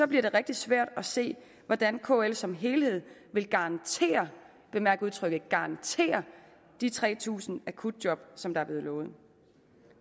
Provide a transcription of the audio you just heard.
bliver det rigtig svært at se hvordan kl som helhed vil garantere og bemærk udtrykket garantere de tre tusind akutjob som der er blevet lovet